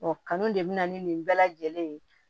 Ɔ kanu de bɛ na ni nin bɛɛ lajɛlen ye